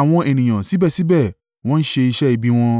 Àwọn ènìyàn síbẹ̀síbẹ̀ wọ́n ń ṣe iṣẹ́ ibi wọn.